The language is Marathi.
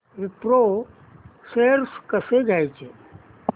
विप्रो शेअर्स कसे घ्यायचे